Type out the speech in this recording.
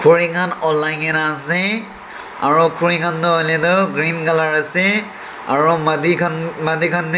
olaigena ase aru khurikhan toh hoiletu green colour ase aru madi khan madi khan--